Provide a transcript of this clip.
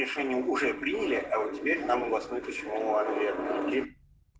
решение уже приняли а теперь нам областной почему отвергли